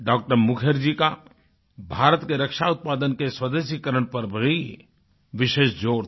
डॉ० मुखर्जी का भारत के रक्षा उत्पादन के स्वदेशीकरण पर भी विशेष ज़ोर था